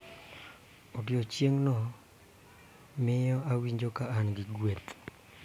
Odiechieng�no miyo awinjo ka an gi gueth